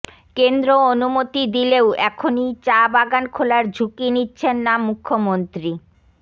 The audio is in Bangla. কেন্দ্র অনুমতি দিলেও এখনই চা বাগান খোলার ঝুঁকি নিচ্ছেন না মুখ্যমন্ত্রী